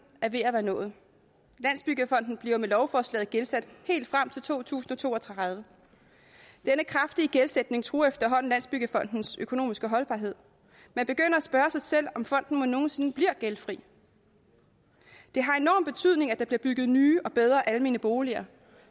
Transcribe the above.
er ved at være nået landsbyggefonden bliver med lovforslaget gældsat helt frem til to tusind og to og tredive denne kraftige gældsætning truer efterhånden landsbyggefondens økonomiske holdbarhed man begynder at spørge sig selv om fonden mon nogen sinde bliver gældfri det har enorm betydning at der bliver bygget nye og bedre almene boliger